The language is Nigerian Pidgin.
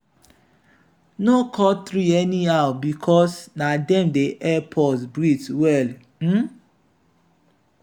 no cut tree anyhow because na dem dey help us breathe well. um